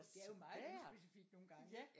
Ja det er jo det er jo meget uspecifikt nogen gange ja ja ja